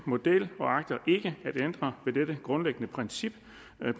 model og agter ikke at ændre ved dette grundlæggende princip